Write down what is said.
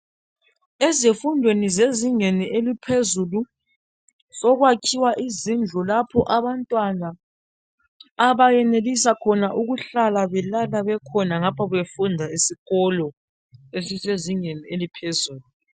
Ezifundweni zezingeni eliphezulu sokwakhiwa izindlu lapho abantwana abayenelisa khona ukuhlala belala bekhona ngapha befunda esikolo esisezingeni eliphezulu